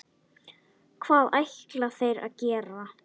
Hvað ætla þeir að gera?